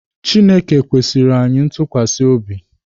Chineke kwesiirị anyị ntukwasi obi.